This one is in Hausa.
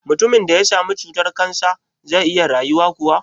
Mutumin da ya sami cutar-kansa zai iya rayuwa kuwa?